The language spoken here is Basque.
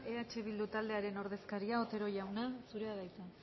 eh bildu taldearen ordezkaria otero jauna zurea da hitza